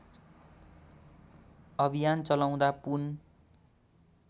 अभियान चलाउँदा पुन